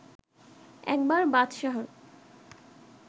একবার বাদশাহর